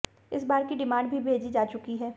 इस बार की डिमांड भी भेजी जा चुकी है